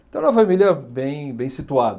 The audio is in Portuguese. Então era uma família bem bem situada.